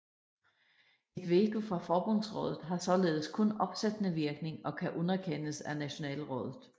Et veto fra Forbundsrådet har således kun opsættende virkning og kan underkendes af Nationalrådet